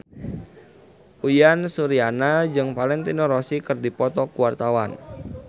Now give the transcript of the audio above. Uyan Suryana jeung Valentino Rossi keur dipoto ku wartawan